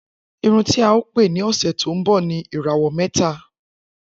Irun tí a ó pè ní òsẹ̀ tó ń bọ̀ ni 'Ìràwọ̀ mẹ́ta'.